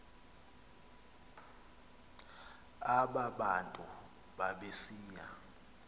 aba bantu babesiya